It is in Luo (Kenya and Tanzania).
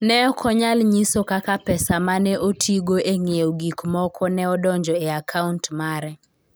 Ne ok onyal nyiso kaka pesa ma ne otigo e ng'iewo gik moko ne odonjo e akaunt mare.